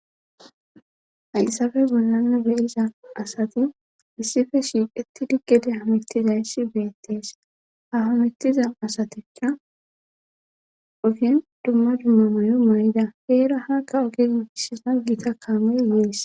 hayssafe bollane be'iza asati issife shiiqetidi gede ha mittizayssi beettees ha hamittiza asatikka ogen dumma dumma mayo maay'ida heera hakka ogin issi gita kaamey yees